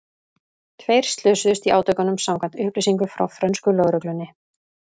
Tveir slösuðust í átökunum samkvæmt upplýsingum frá frönsku lögreglunni.